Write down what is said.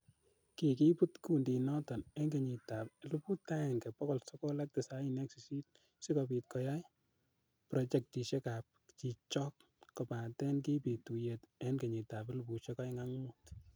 Kikibut kundinoton en kenyitab 1998 sikobiit koyai projectisiekab chichok kobaten kibit tuyet en kenyitab 2005.